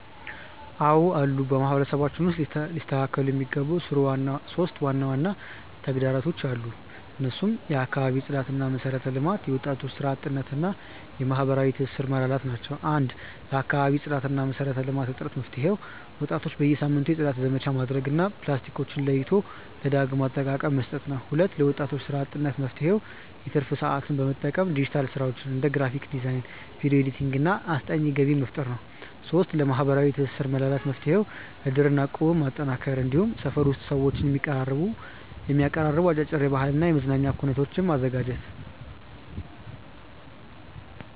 አዎ አሉ። በማህበረሰባችን ውስጥ ሊስተካከሉ የሚገባቸው 3 ዋና ዋና ተግዳሮቶች አሉ። እነሱም የአካባቢ ጽዳትና መሰረተ ልማት፣ የወጣቶች ስራ አጥነት እና የማህበራዊ ትስስር መላላት ናቸው። 1. ለአካባቢ ጽዳትና መሰረተ ልማት እጥረት መፍትሄው፦ ወጣቶች በየሳምንቱ የጽዳት ዘመቻ ማድረግ እና ፕላስቲኮችን ለይቶ ለዳግም አጠቃቀ መስጠት ነው። 2. ለወጣቶች ስራ አጥነት መፍትሄው፦ የትርፍ ሰዓትን በመጠቀም በዲጂታል ስራዎች (እንደ ግራፊክ ዲዛይን፣ ቪዲዮ ኤዲቲንግ) እና አስጠኚነት ገቢ መፍጠር ነው። 3. ለማህበራዊ ትስስር መላላት መፍትሄው፦ እድርና እቁብን ማጠናከር፣ እንዲሁም ሰፈር ውስጥ ሰዎችን የሚያቀራርቡ አጫጭር የባህልና የመዝናኛ ኩነቶችን ማዘጋጀት።